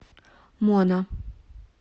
мона